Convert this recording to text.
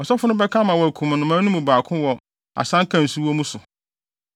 Ɔsɔfo no bɛka ama wɔakum nnomaa no mu baako wɔ asanka a nsu wɔ mu so.